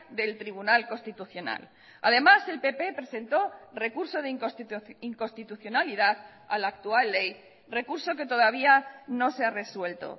del tribunal constitucional además el pp presentó recurso de inconstitucionalidad a la actual ley recurso que todavía no se ha resuelto